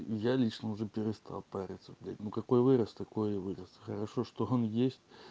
я лично уже перестал париться блять ну какой вырос такой и вырос хорошо что он есть